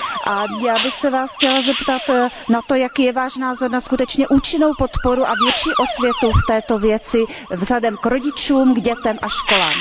A já bych se Vás chtěla zeptat na to, jaký je Váš názor na skutečně účinnou podporu a větší osvětu v této věci vzhledem k rodičům, k dětem a školám.